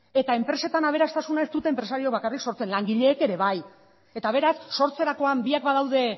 eta enpresetan aberastasuna ez dute enpresarioek bakarrik sortzen langileek ere bai eta beraz sortzerakoan biak badaude